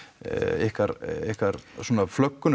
ykkar ykkar svona